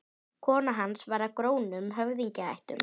Kona hans var af grónum höfðingjaættum.